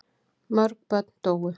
Mörg börn dóu.